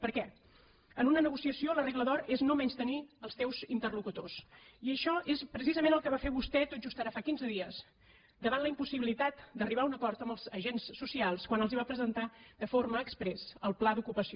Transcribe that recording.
per què en una negociació la regla d’or és no menystenir els teus interlocutors i això és precisament el que va fer vostè tot just ara fa quinze dies davant la impossibilitat d’arribar a un acord amb els agents socials quan els va presentar de forma exprés el pla d’ocupació